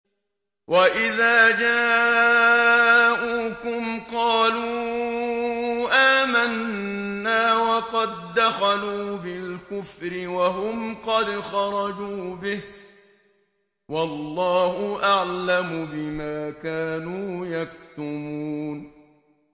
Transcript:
وَإِذَا جَاءُوكُمْ قَالُوا آمَنَّا وَقَد دَّخَلُوا بِالْكُفْرِ وَهُمْ قَدْ خَرَجُوا بِهِ ۚ وَاللَّهُ أَعْلَمُ بِمَا كَانُوا يَكْتُمُونَ